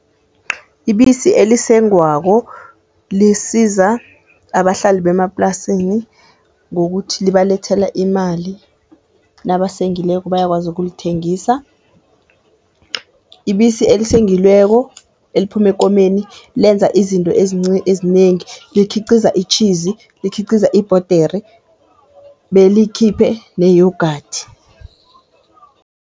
Ibisi elisengwako lisiza abahlali bemaplasini ngokuthi libalethela imali nabasengileko, bayakwazi ukulithengisa. Ibisi eliswengileko eliphuma ekomeni lenza izinto ezinengi, likhiqiza itjhizi, likhiqiza ibhodere belikhiphe ne-yoghurt.